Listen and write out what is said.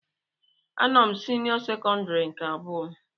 A nọ m senio sekondari nke abụọ.